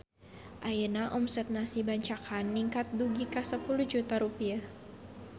Ayeuna omset Nasi Bancakan ningkat dugi ka 10 juta rupiah